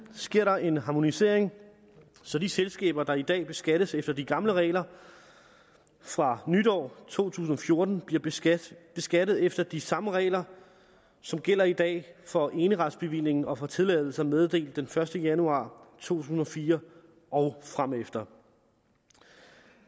sker der en harmonisering så de selskaber der i dag beskattes efter de gamle regler fra nytår to tusind og fjorten bliver beskattet beskattet efter de samme regler som gælder i dag for eneretsbevillingen og for tilladelser meddelt den første januar to tusind og fire og fremefter